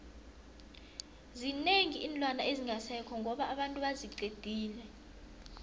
zinengi iinlwana ezingasekho ngoba abantu baziqedile